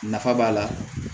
Nafa b'a la